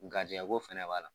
Garijɛgɛko fana b'a la